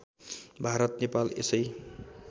भारत नेपाल यसै